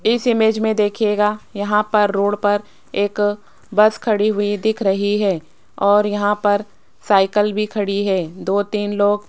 इस इमेज में देखिएगा यहां पर रोड पर एक बस खड़ी हुई दिख रही है और यहां पर साइकिल भी खड़ी है। दो तीन लोग--